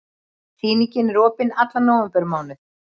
Sýningin er opin allan nóvembermánuð.